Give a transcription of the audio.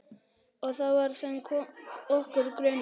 Og það var sem okkur grunaði.